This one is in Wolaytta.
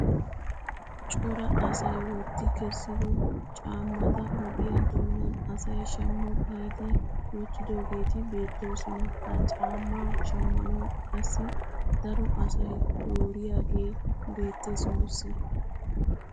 Cora asay wotti kessido caammataogiyaa doonan asay shaammo giidi wottidoogeti beettoosona. ha caammaa shammanawu qassi daro asay dooriyaagee beettees nuusi.